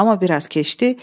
Amma biraz keçdi.